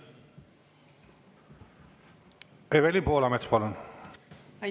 Evelin Poolamets, palun!